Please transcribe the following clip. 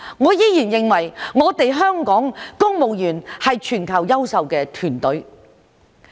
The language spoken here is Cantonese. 我依然認為香港公務員是全球優秀的團隊。